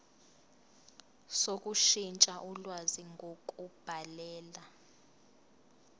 sokushintsha ulwazi ngokubhalela